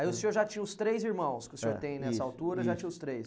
Aí o senhor já tinha os três irmãos que o senhor tem nessa altura, já tinha os três?